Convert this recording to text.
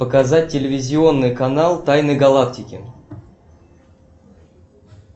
показать телевизионный канал тайны галактики